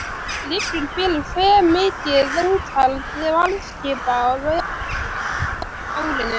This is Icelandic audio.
Liggur fyrir hve mikið úthald varðskipa verður á árinu?